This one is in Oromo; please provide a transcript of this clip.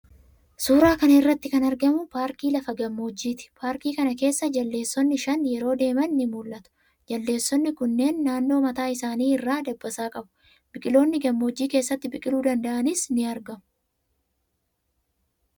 Suuraa kana irratti kan argamu paarkii lafa gammoojjiiti. Paarkii kana keessa jaldeessonni shan yeroo deeman ni mul'atu. Jaldeessonni kunneen naannoo mataa isaanii irraa dabbasaa qabu. Biqiloonni gammoojjii keessatti biqiluu danda'anis ni argamu.